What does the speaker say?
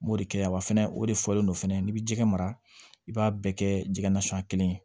N b'o de kɛ wa fɛnɛ o de fɔlen don fɛnɛ n'i bɛ ji mara i b'a bɛɛ kɛ jɛgɛ nasuguya kelen ye